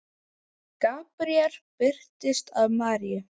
Gabríel birtist Maríu